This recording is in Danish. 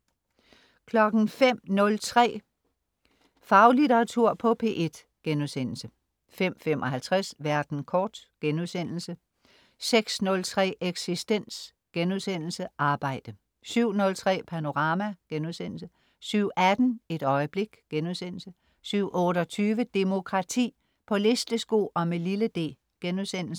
05.03 Faglitteratur på P1* 05.55 Verden kort* 06.03 Eksistens* Arbejde 07.03 Panorama* 07.18 Et øjeblik* 07.28 Demokrati. På listesko og med lille d*